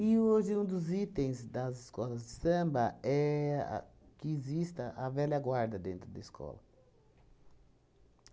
hoje um dos itens das escolas de samba é que exista a velha guarda dentro da escola.